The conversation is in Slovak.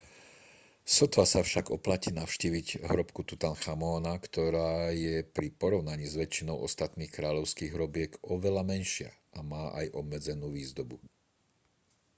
sotva sa však oplatí navštíviť hrobku tutanchamóna ktorá je pri porovnaní s väčšinou ostatných kráľovských hrobiek oveľa menšia a má aj obmedzenú výzdobu